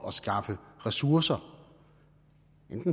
at skaffe ressourcer